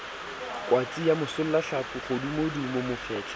kwatsi ya bosollahlapi kgodumodumo mofetshe